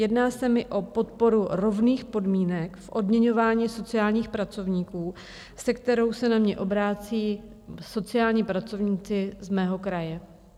Jedná se mi o podporu rovných podmínek v odměňování sociálních pracovníků, se kterou se na mě obracejí sociální pracovníci z mého kraje.